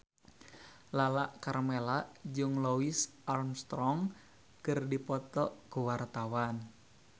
Lala Karmela jeung Louis Armstrong keur dipoto ku wartawan